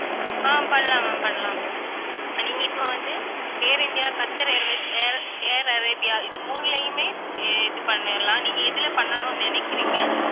ஆஹ் பண்ணலாம் ma'am பண்ணலாம் நீங்க இப்ப வந்து, Air India, Qatar Airways, Air Air Arabia இது மூணுலையுமே இது பண்ணிரலாம். நீங்க எதுல பண்ணணும்னு நினைக்கிறீங்க